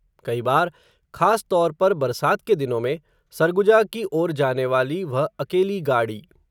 कई बार, खासतौर पर बरसात के दिनों में, सरगुजा की ओर जाने वाली, वह अकेली गाड़ी